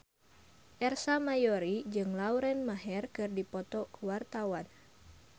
Ersa Mayori jeung Lauren Maher keur dipoto ku wartawan